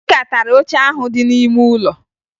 Akịka tara oche ahụ dị n'ime ụlọ